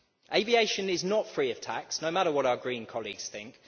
Aviation is not free of tax, no matter what our Green colleagues think.